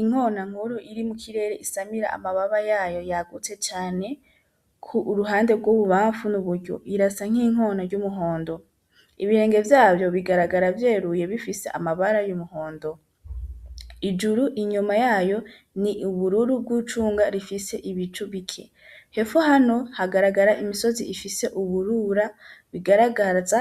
Inkona nkuru iri mu kirere isamira amababa yayo yagutse cane ku uruhande rw'ububamfu n'uburyo irasa nk'inkona y'umuhondo ibirenge vyavyo bigaragara vyeruye bifise amabara y'umuhondo ijuru inyuma yayo ni ubururu bw'ucunga rifise ibicu bike he hano hagaragara imisozi ifise uburura bigaragaza